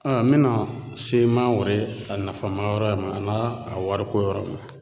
A n mena se mangoro ye nafa ma yɔrɔ ma a n'a a wariko yɔrɔ ma